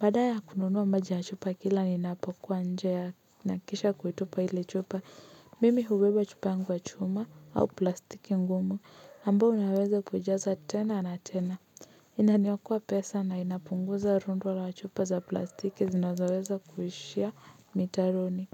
Baada ya kununua maji ya chupa kila ninapokuwa nje nahakikisha kuitupa ile chupa. Mimi hubeba chupa yangu ya chuma au plastiki ngumu ambao unaweza kuijaza tena na tena inaniokoa pesa na inapunguza rundu la chupa za plastiki zinazoweza kuishia mitaroni.